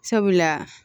Sabula